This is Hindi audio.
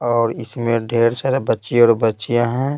और इसमें ढेर सारे बच्चे और बच्चियां हैं।